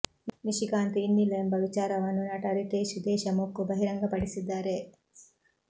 ನಿಶಿಕಾಂತ್ ಇನ್ನಿಲ್ಲ ಎಂಬ ವಿಚಾರವನ್ನು ನಟ ರಿತೇಶ್ ದೇಶಮುಖ್ ಬಹಿರಂಗ ಪಡಿಸಿದ್ದಾರೆ